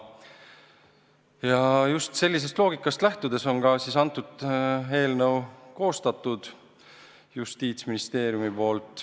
Ja just sellisest loogikast lähtudes on Justiitsministeerium selle eelnõu koostanud.